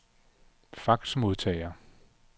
faxmodtager